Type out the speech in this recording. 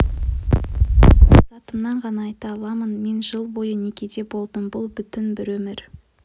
мен тек өз атымнан ғана айта аламын мен жыл бойы некеде болдым бұл бүтін бір өмір